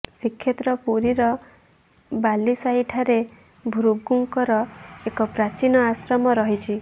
ଶ୍ରୀକ୍ଷେତ୍ର ପୁରୀର ବାଲିସାହିଠାରେ ଭୃଗୁଙ୍କର ଏକ ପ୍ରାଚୀନ ଆଶ୍ରମ ରହିଛି